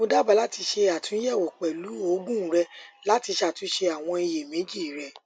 mo daba lati ṣe atunyẹwo pẹlu oogun rẹ lati ṣatunṣe awọn iyemeji rẹ